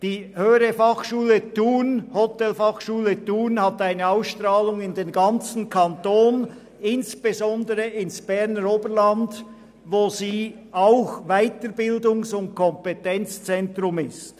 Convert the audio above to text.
Die Höhere Hotelfachschule Thun hat eine Ausstrahlung in den ganzen Kanton, insbesondere ins Berner Oberland, wo sie auch ein Weiterbildungs- und Kompetenzzentrum ist.